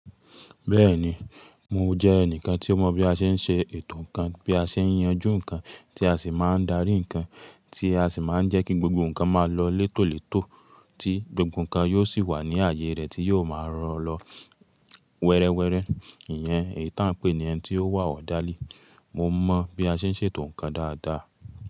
Bẹ́ẹ̀ni, mo jẹ́ ẹnìkan tí ó mọ̀ bí a ṣe ń ṣe ètò nǹkan, bí a ṣe ń yanju nǹkan, tí a sì máa ń darí nǹkan, tí a sì máa ń jẹ́ kí gbogbo nǹkan máa lọ létòlètò, tí gbogbo nǹkan yóò sì wà ní ààyè rẹ̀ tí yóò máa rọ̀ lọ wẹrẹwẹrẹ. Ìyẹn èyí tí à ń pè ní ẹni tí ó wà ọ́rderly. Mo mọ̀ bí a ṣe ń ṣètò nǹkan dáadáa.